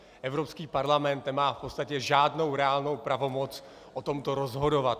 Evropský parlament nemá v podstatě žádnou reálnou pravomoc o tomto rozhodovat.